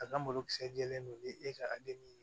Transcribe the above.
A ka malokisɛ jɛlen don ni e ka ale ni